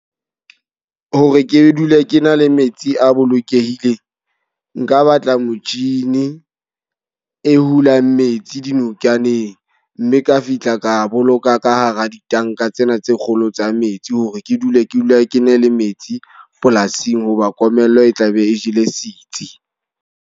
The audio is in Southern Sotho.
Hore ke dule ke na le metsi a bolokehileng. Nka batla motjhini e hulang metsi dinokaneng. Mme ka fihla ka boloka ka hara ditanka tsena tse kgolo tsa metsi. Hore ke dule ke dula ke na le metsi polasing. Ho ba komello e tla be e jele sitsi.